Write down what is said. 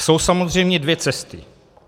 Jsou samozřejmě dvě cesty.